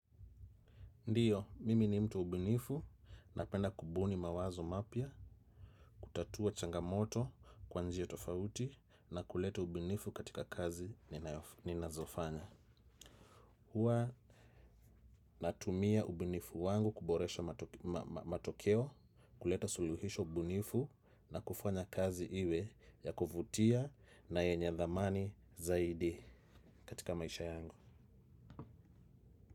Ndiyo, mimi ni mtu mbunifu naenda kubuni mawazo mapya, kutatua changamoto kwa njia tofauti na kuleta ubinifu katika kazi ninazofanya. Huwa natumia ubinifu wangu kuboresha matokeo, kuleta suluhisho binifu na kufanya kazi iwe ya kuvutia na yenye dhamani zaidi katika maisha yangu.